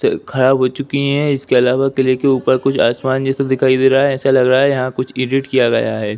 त खराब हो चुकी है। इसके अलावा के ऊपर कुछ आसमान जैसे दिखाई दे रहा है। ऐसा लग रहा है यहाँ कुछ एडिट किया गया है।